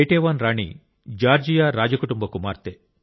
Ketevan రాణి Georgia రాజకుటుంబ కుమార్తె